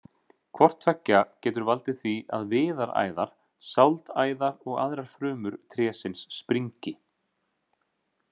Hvort tveggja getur valdið því að viðaræðar, sáldæðar og aðrar frumur trésins springi.